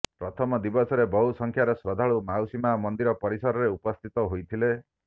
ପ୍ରଥମ ଦିବସରେ ବହୁ ସଂଖ୍ୟାରେ ଶ୍ରଦ୍ଧାଳୁ ମାଉସୀ ମା ମନ୍ଦିର ପରିସରରେ ଉପସ୍ଥିତ ହୋଇଥିଲେ